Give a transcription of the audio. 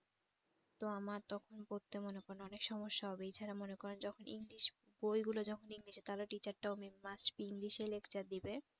তো আমার তখন পড়তে মনে করেন অনেক সমস্যা হবেই এছাড়া মনে করেন যখন english বইগুলা যখন english এ তাহলে teacher টাও may must be english এ lecturer দেবে